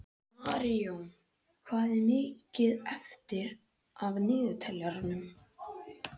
Marjón, hvað er mikið eftir af niðurteljaranum?